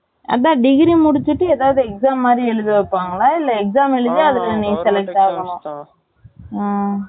அதுதான் degree முடிச்சிட்டு எதாவது exam மாதிரி எழுத வைப்பங்களா இல்ல exam எழுதி அதுல நீ Select ஆகனுமா